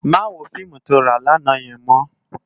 Má wó fiimú tó rá làná yèn mò